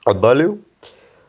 отдалил